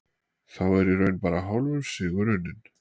Þá er í raun bara hálfur sigur unninn.